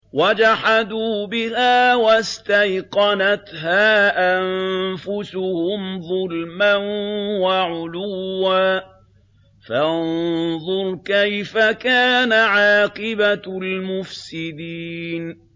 وَجَحَدُوا بِهَا وَاسْتَيْقَنَتْهَا أَنفُسُهُمْ ظُلْمًا وَعُلُوًّا ۚ فَانظُرْ كَيْفَ كَانَ عَاقِبَةُ الْمُفْسِدِينَ